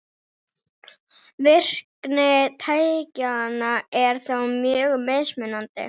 Virkni tækjanna er þó mjög mismunandi.